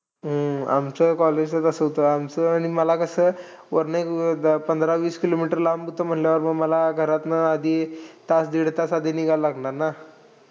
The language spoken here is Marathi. हम्म आमचं college कसं होतं, आमचं आणि मला कसं. वरनं एक पंधरा-वीस kilometers लांब होतं म्हणल्यावर मग मला घरातनं आधी तास -दीडतास आधी निघावं लागणार ना.